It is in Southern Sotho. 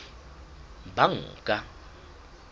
banka